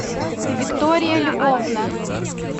виктория львовна